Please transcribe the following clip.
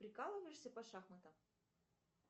прикалываешься по шахматам